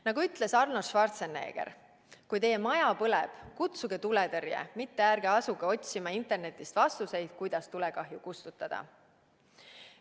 Nagu ütles Arnold Schwarzenegger, kui teie maja põleb, kutsuge tuletõrje, mitte ärge asuge otsima internetist vastuseid, kuidas tulekahju kustutada.